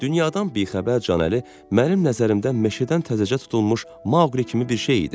Dünyadan bixəbər Canəli mənim nəzərimdə meşədən təzəcə tutulmuş Mauqli kimi bir şey idi.